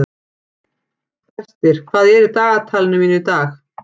Brestir, hvað er í dagatalinu mínu í dag?